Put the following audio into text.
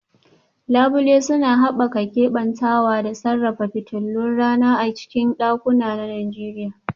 Labule suna haɓaka keɓantawa da sarrafa fitilun rana a cikin ɗakuna na Najeriya